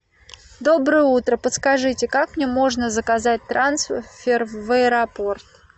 доброе утро подскажите как мне можно заказать трансфер в аэропорт